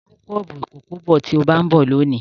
Mú kọ́ọ́pù ìkókó bọ̀ tí ó bá ń bọ̀ lónìí.